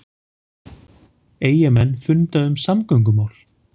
Eyjamenn funda um samgöngumál